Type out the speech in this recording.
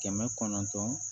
Kɛmɛ kɔnɔntɔn